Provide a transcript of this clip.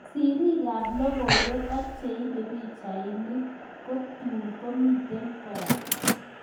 Siriik ap logoiwek ak cheipee pichainik kptuun komitei koraa